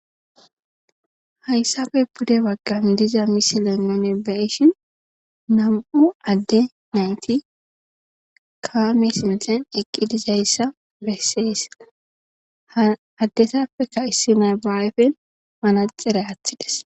Hayssafe pude baggan diza miselennone baishin nam'u adde nayti kamesinten eqqi dizayssa besseessa addesappekka issi naybaawefen mana xera aththides.